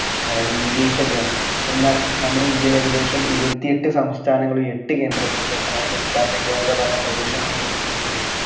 ഏർ english ഒക്കെആണ് എന്നാൽ നമ്മുടെ ഇന്ത്യയിൽ ഏകദേശം ഇരുപത്തി എട്ട് സംസ്ഥാനങ്ങളും എട്ട് കേന്ദ്രപ്രദേശങ്ങള് ഏർ കേന്ദ്രഭരണപ്രദേശങ്ങളും ഉള്ളത് കൊണ്ട്